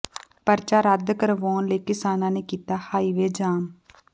ਪਰਚਾ ਰੱਦ ਕਰਵਾਉਣ ਲਈ ਕਿਸਾਨਾਂ ਨੇ ਕੀਤਾ ਹਾਈਵੇ ਜਾਮ